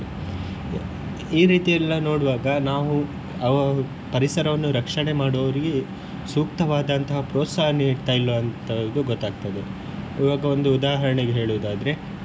ಈ ರೀತಿ ಎಲ್ಲಾ ನೋಡುವಾಗ ನಾವು ಅವ~ ಪರಿಸರವನ್ನು ರಕ್ಷಣೆ ಮಾಡುವವರಿಗೆ ಸೂಕ್ತವಾದಂತಹ ಪ್ರೋತ್ಸಾಹ ನಿಡ್ತಾ ಇಲ್ವಂತದು ಗೊತ್ತಾಗ್ತದೆ ಈವಾಗ ಒಂದು ಉದಾಹರಣೆಗೆ ಹೇಳುದಾದ್ರೆ.